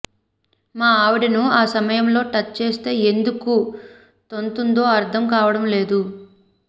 మా ఆవిడను ఆ సమయంలో టచ్ చేస్తే ఎందుకు తంతుందో అర్థం కావడం లేదు